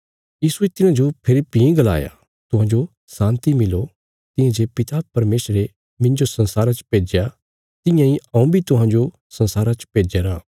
यीशुये तिन्हांजो फेरी भीं गलाया तुहांजो शान्ति मिलो तियां जे पिता परमेशरे मिन्जो संसारा च भेज्या तियां इ हऊँ बी तुहांजो संसारा च भेज्या रां